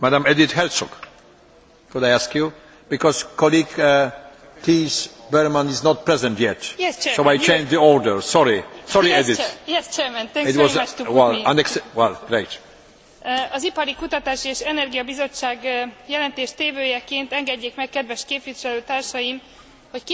Az Ipari, Kutatási és Energiaügyi Bizottság jelentéstevőjeként engedjék meg kedves képviselőtársaim, hogy kifejezzem aggályainkat azzal kapcsolatban, hogy vajon a jelen pénzügyi keretben elegendő kapacitás található e a kiemelt európai szakpolitikai kezdeményezések megfelelő szintű finanszírozására.